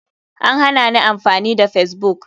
An hanani amfani da facebook.